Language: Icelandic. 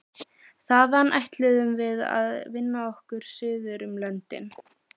Þaðan ætluðum við að vinna okkur suður um löndin.